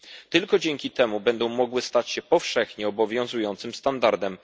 Tylko dzięki temu będą one mogły stać się powszechnie obowiązującym standardem.